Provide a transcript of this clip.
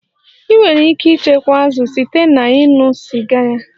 Ị nwere ike ịchekwa azụ site na ịṅụ sịga ya